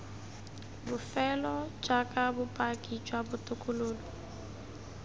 bofelo jaaka bopaki jwa botokololo